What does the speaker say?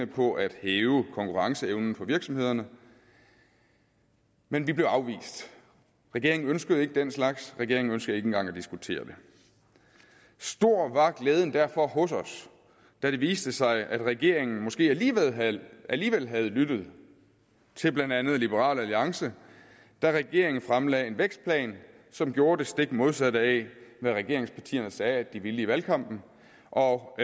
på at hæve konkurrenceevnen for virksomhederne men vi blev afvist regeringen ønskede ikke den slags regeringen ønskede ikke engang at diskutere det stor var glæden derfor hos os da det viste sig at regeringen måske alligevel havde alligevel havde lyttet til blandt andet liberal alliance regeringen fremlagde en vækstplan som gjorde det stik modsatte af hvad regeringspartierne sagde de ville i valgkampen og